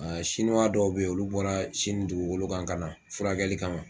Sinuwa dɔw bɛ ye olu bɔra sini dugugolo kan ka na furakɛli kama.